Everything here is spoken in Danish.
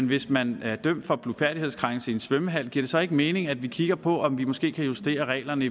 hvis man er dømt for en blufærdighedskrænkelse i en svømmehal giver det så ikke mening at vi kigger på om vi måske kan justere reglerne